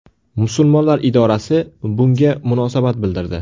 Musulmonlar idorasi bunga munosabat bildirdi.